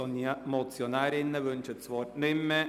Die Motionärinnen wünschen das Wort nicht mehr.